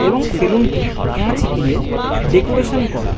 এবং সেলুন টি কাঁচ দিয়ে ডেকোরেশন করা।